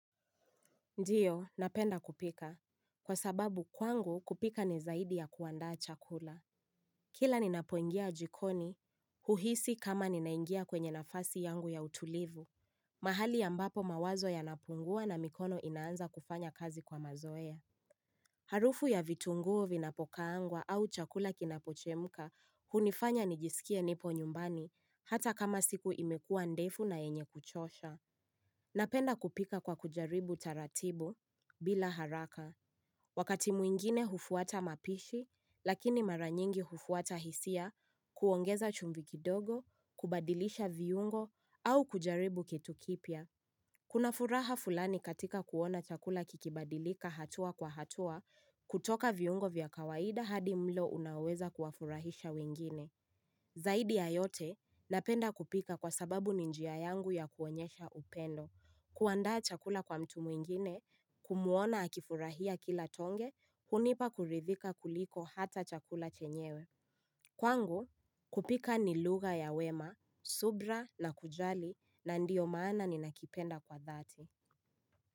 Ndiyo, napenda kupika. Kwa sababu kwangu kupika ni zaidi ya kuanda chakula. Kila ninapoingia jikoni, huhisi kama ninaingia kwenye nafasi yangu ya utulivu. Mahali ambapo mawazo yanapungua na mikono inaanza kufanya kazi kwa mazoea. Harufu ya vitunguu vinapokaangwa au chakula kinapochemuka hunifanya nijisikie nipo nyumbani hata kama siku imekuwa ndefu na yenye kuchosha. Napenda kupika kwa kujaribu taratibu, bila haraka. Wakati mwingine hufuata mapishi, lakini mara nyingi hufuata hisia kuongeza chumvi kidogo, kubadilisha viungo, au kujaribu kitu kipya. Kuna furaha fulani katika kuona chakula kikibadilika hatua kwa hatua, kutoka viungo vya kawaida hadi mlo unaweza kuwafurahisha wengine. Zaidi ya yote, napenda kupika kwa sababu ni njia yangu ya kuonyesha upendo. Kuandaa chakula kwa mtu mwingine kumuona akifurahia kila tonge hunipa kuridhika kuliko hata chakula chenyewe Kwangu kupika ni lugha ya wema subira na kujali na ndiyo maana ni nakipenda kwa dhati.